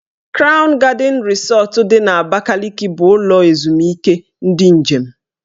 Krawn Gadịn Rịsọt dị n'Abakaliki bụ ụlọ ezumike ndị njem.